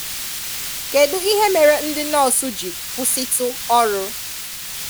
Kẹ́dụ̀ ihè mẹ́rè̀ ndị̀ nọọ́sụ̀ jí́ kwụsị̀tụ̀ ọ̀rụ̀?